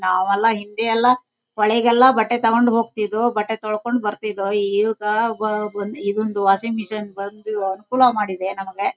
ನಾವೆಲ್ಲ ಹಿಂದೆ ಎಲ್ಲ ಹೊಳೆಗೆಲ್ಲ ಬಟ್ಟೆ ತಗೊಂಡು ಹೊಗ್ತಿದ್ವು ಬಟ್ಟೆ ತೊಳ್ಕೊಂಡು ಬರ್ತಿದ್ವು ಈಗ ಬಾನ್ ಈಗ ಒಂದು ವಾಷಿಂಗ್ ಮಿಷಿನ್ ಬಂದು ಅನುಕೂಲ ಮಾಡಿದೆ ನಮಗೆ.